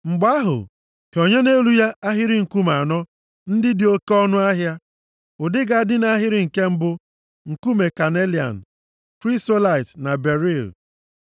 Mgbe ahụ, hịọnye nʼelu ya ahịrị nkume anọ ndị dị oke ọnụahịa. Ụdị ga-adị nʼahịrị nke mbụ bụ, nkume kanelian, krisolaịt na beril,